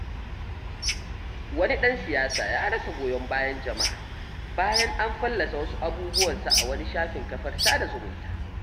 Wani ɗan siyasa ya rasa goyon bayan jama'a bayan an fallasa wasu abubuwansa a wani shafin kafar sada zumunta.